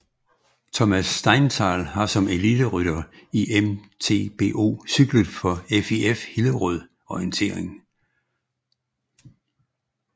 Thomas Steinthal har som eliterytter i MTBO cyklet for FIF Hillerød Orientering